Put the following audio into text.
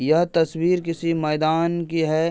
यह तस्वीर किसी मैदान की है।